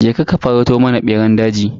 Je ka ka farauto mana beran daji.